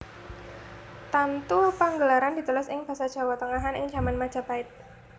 Tantu Panggelaran ditulis ing basa Jawa tengahan ing jaman Majapahit